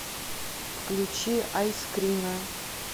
включи айскрина